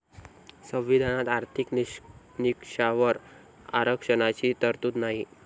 संविधानात आर्थिक निकषावर आरक्षणाची तरतूद नाही.